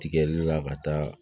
Tigɛli la ka taa